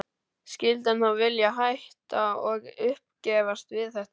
Skyldi hann þá vilja hætta og uppgefast við þetta?